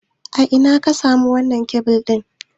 A ina ka samo wannan kebil ɗin?